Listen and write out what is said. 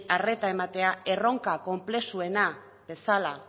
arreta ematea erronka konplexuena bezala